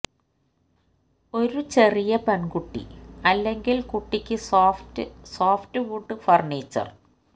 ഒരു ചെറിയ പെൺകുട്ടി അല്ലെങ്കിൽ കുട്ടിക്ക് സോഫ്റ്റ് സോഫ്റ്റ് വുഡ് ഫർണിച്ചർ